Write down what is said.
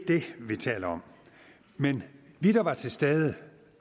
det vi taler om men vi der var til stede